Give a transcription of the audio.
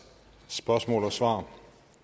spørgsmål og svar